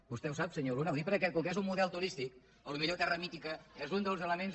vostè ho sap senyor luna ho dic perquè com que és un model turístic potser terra mítica és un dels elements